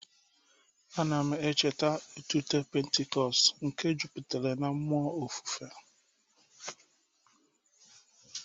A na m echeta ịtụte Pentikọstal nke jupụtara na mmụọ ofufe.